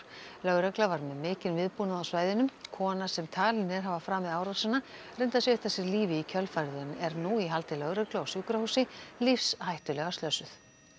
lögregla var með mikinn viðbúnað á svæðinu kona sem talin er hafa framið árásina reyndi að svipta sig lífi í kjölfarið en er nú í haldi lögreglu á sjúkrahúsi lífshættulega slösuð